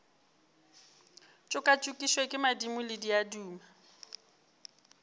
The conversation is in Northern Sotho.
tšokatšokišwe ke madimo le diaduma